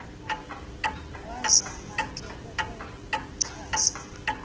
wazama ke ukuchaza